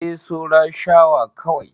E, saura shawa kawai.